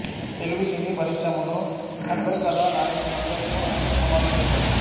తెలుగు సినీ పరిశ్రమలో అగ్రకథా నాయకులందరితో ఆయన సినిమాలు చేశాడు